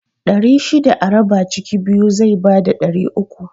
Ɗari shida a raba ciki biyu zai bada ɗari uku